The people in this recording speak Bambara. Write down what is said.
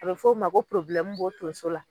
A be f'o ma ko b'o tonso la.